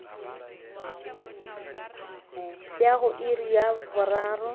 ya go iri ya boraro